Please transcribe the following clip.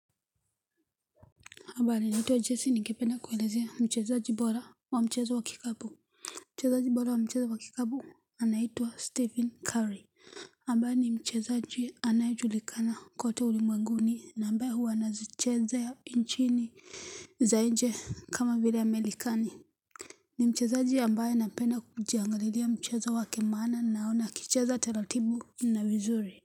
Habari naitwa jesse nindependa kuelezea mchezaji bora wa mchezo wakikabu Mchezaji bora wa mchezo wakikabu anaitwa stephen curry, ambae ni mchezaji bora anaejulikana kote ulimwenguni na ambaye huwa anazichezea nchini za inje kama vile ya merikani ni mchezaji ambaye napenda kujiangalia mchezo wake maana naona akicheza taratibu inavizuri.